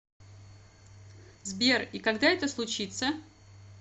сбер и когда это случится